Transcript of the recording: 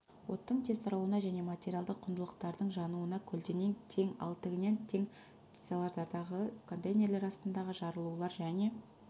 оттың тез таралуына және материалды құндылықтардың жануына көлденең тең ал тігінен тең стеллаждардағы контейнерлер астындағы жарылулар және